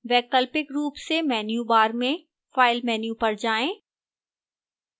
वैकल्पिक रूप से menu bar में file menu पर जाएं